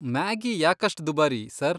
Maggi ಯಾಕಷ್ಟ್ ದುಬಾರಿ, sir?